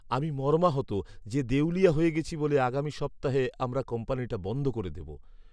আমি মর্মাহত যে দেউলিয়া হয়ে গেছি বলে আগামী সপ্তাহে আমরা কোম্পানিটা বন্ধ করে দেব।